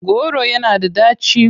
Kolanut is bitter.